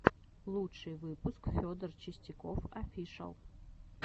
лучший выпуск федор чистяков офишал